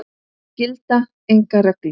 Það gilda engar reglur.